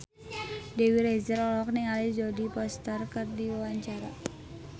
Dewi Rezer olohok ningali Jodie Foster keur diwawancara